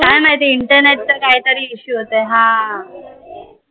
काय माहिती internet चा काही तरी issue होताय हा